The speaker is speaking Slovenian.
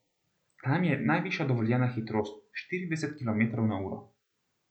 Tam je najvišja dovoljena hitrost štirideset kilometrov na uro.